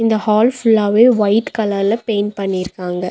இந்த ஹால் ஃபுல்லாவே ஒயிட் கலர்ல பெயிண்ட் பண்ணிருக்காங்க.